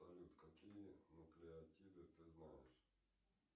салют какие нуклеотиды ты знаешь